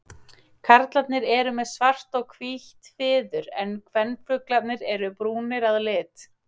Karlarnir eru með svart og hvítt fiður en kvenfuglarnir eru brúnir að lit.